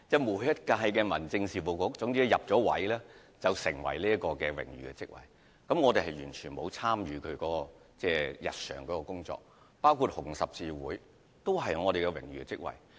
所有新上任的民政事務局局長均會擔當這些榮譽職位，但卻完全不會參與日常的工作，例如我也在紅十字會擔任榮譽職位。